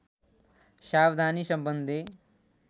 सावधानी सम्बन्धी